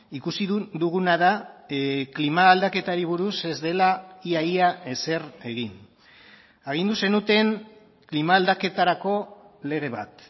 ikusi duguna da klima aldaketari buruz ez dela ia ia ezer egin agindu zenuten klima aldaketarako lege bat